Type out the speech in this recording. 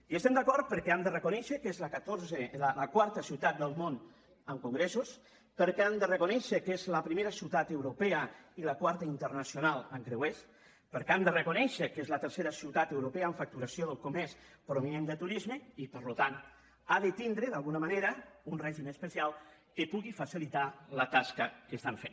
hi estem d’acord perquè hem de reconèixer que és la quarta ciutat del món en congressos perquè hem de reconèixer que és la primera ciutat europea i la quarta internacional en creuers perquè hem de reconèixer que és la tercera ciutat europea en facturació del comerç provinent de turisme i per tant ha de tindre d’alguna manera un règim especial que pugui facilitar la tasca que estan fent